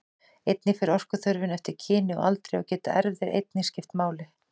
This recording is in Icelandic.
Einnig fer orkuþörfin eftir kyni og aldri og geta erfðir einnig skipt máli.